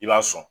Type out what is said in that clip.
I b'a sɔn